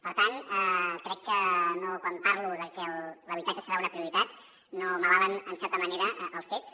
per tant crec que quan parlo de que l’habitatge serà una prioritat m’avalen en certa manera els fets